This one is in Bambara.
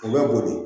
U bɛ boli